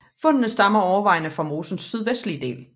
Fundene stammer overvejende fra mosens sydvestlige del